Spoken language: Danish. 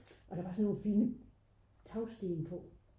og der var sådan nogle fine tagsten på